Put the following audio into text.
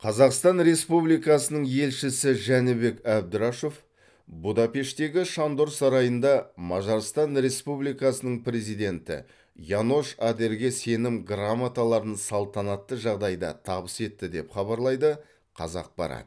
қазақстан республикасының елшісі жәнібек әбдрашов будапештегі шандор сарайында мажарстан республикасының президенті янош адерге сенім грамоталарын салтанатты жағдайда табыс етті деп хабарлайды қазақпарат